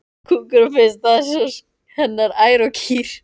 Kúkur og piss, það voru sko hennar ær og kýr.